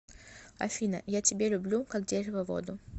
афина я тебе люблю как дерево воду